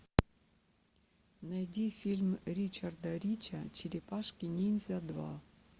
найди фильм ричарда рича черепашки ниндзя два